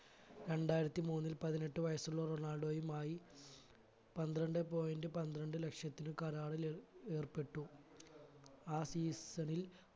രണ്ടായിരത്തി മൂന്നിൽ പതിനെട്ടു വയസുള്ള റൊണാൾഡോയുമായി പന്ത്രണ്ട് point പന്ത്രണ്ട് ലക്ഷത്തിന് കരാറില് ഏർപ്പെട്ടു ആ season ൽ